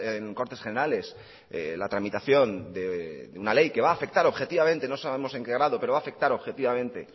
en cortes generales la tramitación de una ley que va a afectar objetivamente no sabemos en qué grado pero va a afectar objetivamente